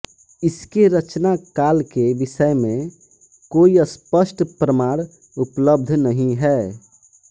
इसके रचनाकाल के विषय में कोई स्पष्ट प्रमाण उपलब्ध नहीं है